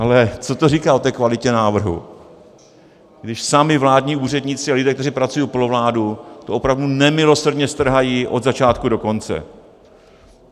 Ale co to říká o té kvalitě návrhu, když sami vládní úředníci a lidé, kteří pracují pro vládu, to opravdu nemilosrdně strhají od začátku do konce?